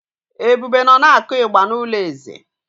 Ebube nọ na-akụ ịgbà n’ụlọ eze.